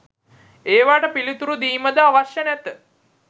ඒවාට පිළිතුරු දීමද අවශ්‍ය නැත